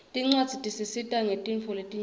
tincwadzi tisita ngetintfo letinyenti